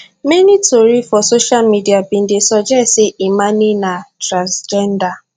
many tori for social media bin dey suggest say imane na transgender